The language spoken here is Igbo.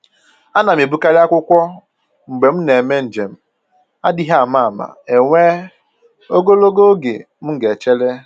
Ana m ebukarị akwụkwọ mgbe m na eme njem, adịghị ama ama enwee ogologo oge m ga echere